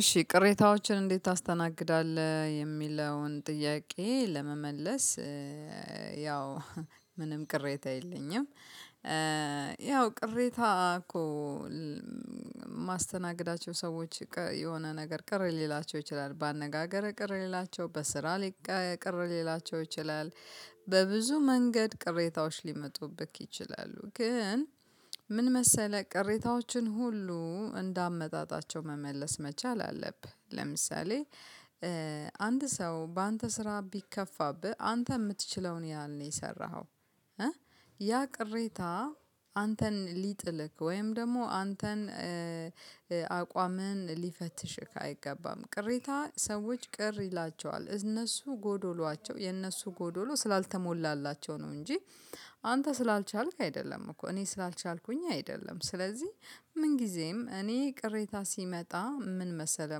እሺ ቅሬታዎችን እንዴት ታስተናግዳለህ የሚለውን ጥያቄ ለመመለስ ያው ምንም ቅሬታ የለኝም። ያው ቅሬታ እኮ ማስተናግዳቸው ሰዎች የሆነ ነገር ቅር ሊላቸው ይችላል በአነጋገር ቅር ሊላቸው በስራ ሊቀ ቅር ሊላቸው ይችላል። በብዙ መንገድ ቅሬታዎች ሊመጡብክ ይችላሉ ግን ምን መሰለህ ቅሬታዎችን ሁሉ እንደ አመጣጣቸው መመለስ መቻል አለብህ። ለምሳሌ አንድ ሰው በአንተ ስራ ቢከፋብህ አንተ የምትችለውን ያህል ነው የሰራኸው። ያ ቅሬታ አንተን ሊጥልክ ወይም ደግሞ አንተን አቋምህን ሊፈትሽህ አይገባም። ቅሬታ ሰዎች ቅር ይላቸዋል እነሱ ጎዶሏቸው የነሱ ጎዶሎ ስላልተሞላላቸው ነው እንጂ አንተ ስላልቻልክ አይደለም እኮ እኔ ስላልቻልኩኝ አይደለም። ስለዚህ ምን ጊዜም እኔ ቅሬታ ሲመጣ ምን መሰለህ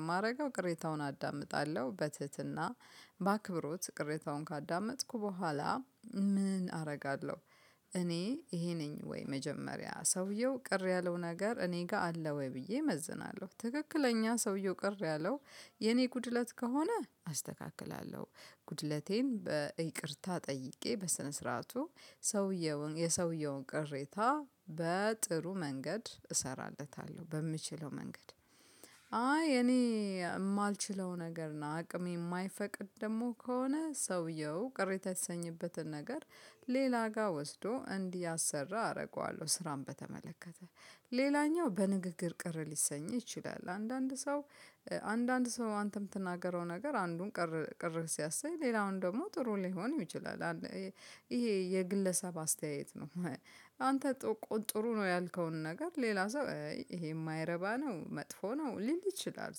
የማደርገው ቅሬታውን አዳምጣለሁ በትህትና በአክብሮት ቅሬታውን ካዳመጥኩ በኋላ ምን አደርጋለሁ? እኔ ይሄ ነኝ ወይ መጀመሪያ ሰውየው ቅር ያለው ነገር እኔ ጋር አለ ወይ ብዬ እመዝናለሁ። ትክክለኛ ሰውየው ቅር ያለው የኔ ጉድለት ከሆነ አስተካክላለሁ። ጉድለቴን በይቅርታ ጠይቄ በስነ ስርዓቱ ሰውየውን የሰውየውን ቅሬታ በጥሩ መንገድ እሰራለታለሁ በምችለው መንገድ። አይ እኔ የማልችለው ነገር አቅሜ የማይፈቅድ ደግሞ ከሆነ ሰውየው ቅሬታ የሰኝበትን ነገር ሌላ ጋር ወስዶ እንዲያሰራ አደርገዋለሁ። ስራን በተመለከተ ሌላኛው በንግግር ቅር ሊሰኝ ይችላል። አንዳንድ ሰው አንዳንድ ሰው አንተ ምትናገረው ነገር አንዱን ቅር ቅር ሲያሰኝ ሌላውን ደግሞ ጥሩ ሊሆን ይችላል። ይሄ የግለሰብ አስተያየት ነው። አንተ ጥሩ ነው ያልከውን ነገር ሌላ ሰው ይሄ የማይረባ ነው መጥፎ ነው ሊል ይችላል።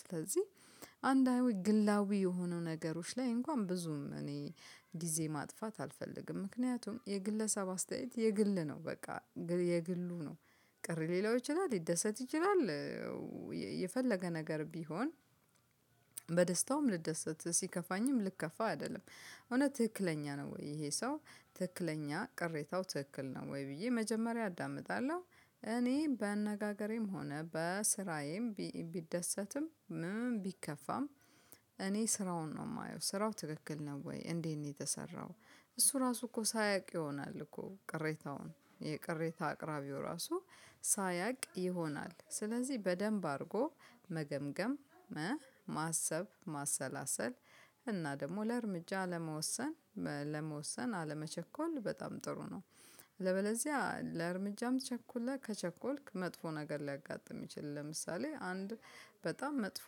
ስለዚህ አንዳዊ ግላዊ የሆኑ ነገሮች ላይ እንኳን ብዙም እኔ ጊዜ ማጥፋት አልፈልግም ምክንያቱም የግለሰብ አስተያየት የግል ነው በቃ የግሉ ነው። ቅር ሊለው ይችላል ሊደሰት ይችላል። የፈለገ ነገር ቢሆን በደስታውም ልደሰት ሲከፋኝም ልከፋ አይደለም። እውነት ትክክለኛ ነው ወይ ይሄ ሰው ትክክለኛ ቅሬታው ትክክል ነው ወይ ብዬ መጀመሪያ አዳምጣለሁ። እኔ በአነጋገሬም ሆነ በስራዬም ቢደሰትም ምን ቢከፋም እኔ ስራውን ነው የማየው ስራው ትክክል ነው ወይ እንዴት ነው የተሰራው? እሱ ራሱ እኮ ሳያውቅ ይሆናል እኮ ቅሬታውን የቅሬታ አቅራቢው ራሱ ሳያውቅ ይሆናል። ስለዚህ በደንብ አድርጎ መገምገም ማሰብ ማሰላሰል እና ደግሞ ለእርምጃ ለመወሰን ለመወሰን አለመቸኮል በጣም ጥሩ ነው። ለበለዚያ ለእርምጃም ቸኮለ ከቸኮልክ መጥፎ ነገር ሊያጋጥም ይችል። ለምሳሌ አንድ በጣም መጥፎ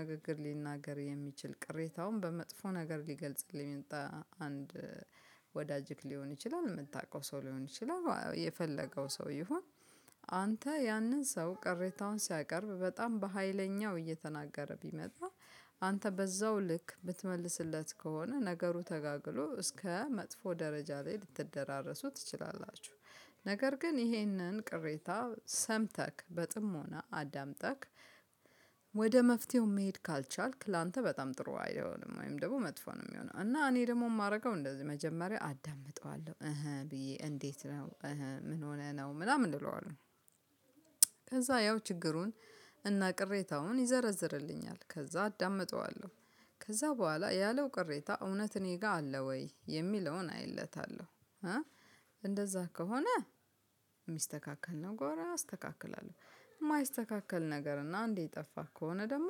ንግግር ሊናገር የሚችል ቅሬታውን በመጥፎ ነገር ሊገልጽልኝ በአንድ ወዳጅክ ሊሆን ይችላል የምታውቀው ሰው ሊሆን ይችላል። የፈለገው ሰው ይሆን? አንተ ያንን ሰው ቅሬታውን ሲያቀርብ በጣም በሃይለኛው እየተናገረ ቢመጣ አንተ በዛው ልክ ብትመልስለት ከሆነ ነገሩ ተጋግሎ እስከ መጥፎ ደረጃ ላይ ልትደራረሱ ትችላላችሁ። ነገር ግን ይሄንን ቅሬታ ሰምተክ በጥሞና አዳምጠክ ወደ መፍትሄው መሄድ ካልቻልክ ላንተ በጣም ጥሩ አይሆንም። ወይም ደግሞ መጥፎ ነው የሚሆነው። እና እኔ ደግሞ የማረገው እንደዚህ መጀመሪያ አዳምጠዋለሁ እህ ብዬ እንዴት ነው እህ ምን ሆነ ነው ምናምን እንለዋለሁ። ከዛ ያው ችግሩን እና ቅሬታውን ይዘረዝርልኛል ከዛ አዳምጠዋለሁ። ከዛ በኋላ ያለው ቅሬታ እውነት እኔ ጋር አለ ወይ የሚለውን አይለታለሁ። እንደዛ ከሆነ ሚስተካከል ከሆነ አስተካክላለሁ። የማይስተካከል ነገር እና አንዴ የጠፋ ከሆነ ደግሞ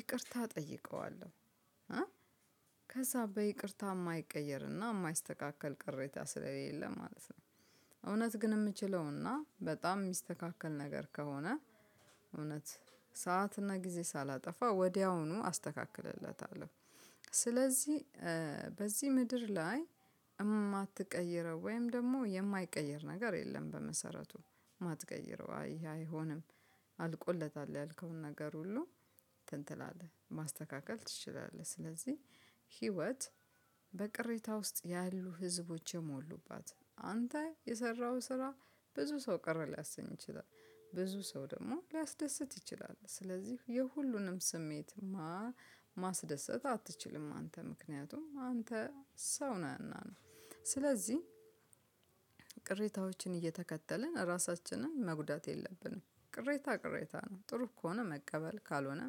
ይቅርታ እጠይቀዋለሁ። ከዛ በይቅርታ የማይቀየርና የማይስተካከል ቅሬታ ስለሌለ ማለት ነው። እውነት ግን የምችለውና በጣም ሚስተካከል ነገር ከሆነ ሰዓትና ጊዜ ሳላጠፋ ወዲያውኑ አስተካክለለታለሁ። ስለዚህ በዚህ ምድር ላይ የማትቀይረው ወይም ደግሞ የማይቀይር ነገር የለም በመሰረቱ የማትቀይረው አይ አይሆንም። አልቆለታል ያልከውን ነገር ሁሉ ትንትላለህ ማስተካከል ትችላለህ። ስለዚህ ህይወት በቅሬታ ውስጥ ያሉ ህዝቦች የሞሉባት አንተ የሰራኸው ስራ ብዙ ሰው ቅር ሊያሰኝ ይችላል። ብዙ ሰው ደግሞ ሊያስደስት ይችላል ስለዚህ የሁሉንም ስሜት ማስደሰት አትችልም አንተ ምክንያቱም አንተ ሰው ነህና ነው። ስለዚህ ቅሬታዎችን እየተከተልን ራሳችንን መጉዳት የለብንም። ቅሬታ ቅሬታ ነው ጥሩ ከሆነ መቀበል ካልሆነ